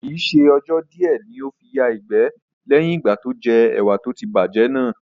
Kii ṣe ọjọ́ di ẹ ní ó fi yà ìgbẹ́ leyin ìgbà tó jẹ́ ẹwà tó ti bá jẹ́ náà